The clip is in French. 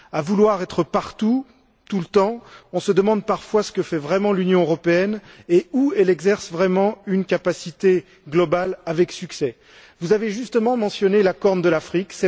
À vouloir être partout, tout le temps, on se demande parfois ce que fait vraiment l'Union européenne et où elle exerce vraiment une capacité globale avec succès. Vous avez justement mentionné la corne de l'Afrique